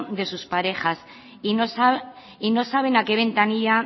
de sus parejas y no saben a qué ventanilla